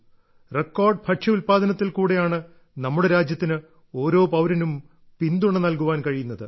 record ഭക്ഷ്യ ഉൽപ്പാദനത്തിൽ കൂടെയാണ് നമ്മുടെ രാജ്യത്തിന് ഓരോ പൌരനും പിന്തുണ നൽകാൻ കഴിയുന്നത്